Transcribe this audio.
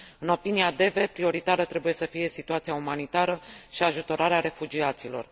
În opinia DEVE, prioritară trebuie să fie situația umanitară și ajutorarea refugiaților.